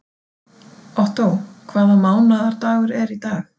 Ottó, hvaða mánaðardagur er í dag?